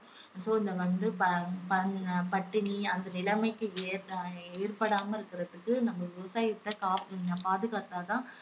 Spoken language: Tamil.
so இத வந்து ப~ ப~ பட்டினி அந்த நிலைமைக்கு ஏ~ அஹ் ஏற்படாமல் இருக்குறதுக்கு நம்ம விவசாயத்த காப்~ பாதுகாத்தா தான்